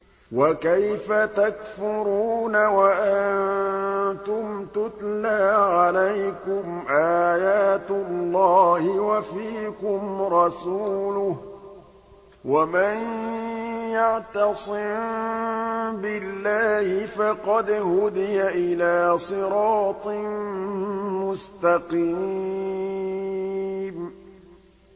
وَكَيْفَ تَكْفُرُونَ وَأَنتُمْ تُتْلَىٰ عَلَيْكُمْ آيَاتُ اللَّهِ وَفِيكُمْ رَسُولُهُ ۗ وَمَن يَعْتَصِم بِاللَّهِ فَقَدْ هُدِيَ إِلَىٰ صِرَاطٍ مُّسْتَقِيمٍ